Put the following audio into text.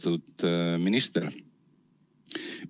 Austatud minister!